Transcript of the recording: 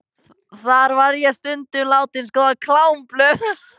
Þar var ég stundum látin skoða klámblöð.